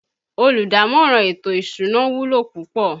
Olùdámọ̀ràn ètò ìsúná wúlò púpọ̀